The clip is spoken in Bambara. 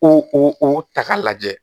O o o ta k'a lajɛ